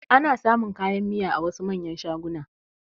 Ana samun kayan miya a wasu manyan shagunan